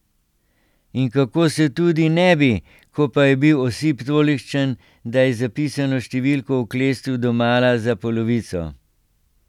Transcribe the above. In kako se tudi ne bi, ko pa je bil osip tolikšen, da je zapisano številko oklestil domala za polovico.